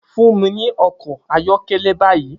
Fun mi ni ọkọ ayọkẹlẹ bayi!